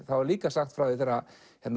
er líka sagt frá því þegar